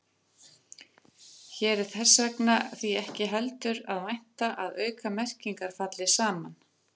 Hér er þess því ekki heldur að vænta að aukamerkingar falli saman.